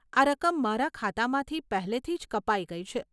આ રકમ મારા ખાતામાંથી પહેલેથી જ કપાઈ ગઈ છે.